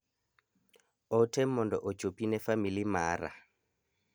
Ote mondo ochopi ne famili mara.